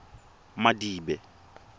madibe